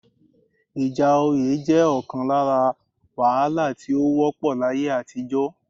Ìjà oyé jẹ́ ọ̀kan lára wàhálà tí ó wọ́pọ̀ láyé àtijọ́